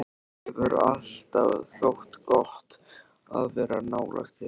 Hefur alltaf þótt gott að vera nálægt þér.